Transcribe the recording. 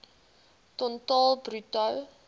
ton totaal bruto